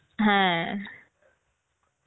হ্যাঁ